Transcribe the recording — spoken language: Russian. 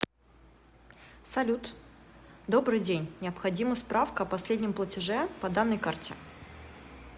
салют добрый день необходима справка о последнем платеже по данной карте